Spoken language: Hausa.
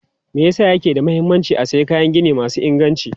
Me yasa yake da mahimmanci a sayi kayan gini masu inganci?